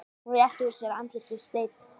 Hún réttir úr sér, andlitið steinn.